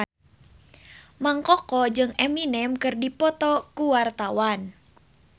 Mang Koko jeung Eminem keur dipoto ku wartawan